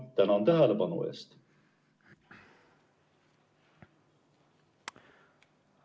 Tänan tähelepanu eest!